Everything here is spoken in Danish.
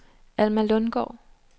Alma Lundgaard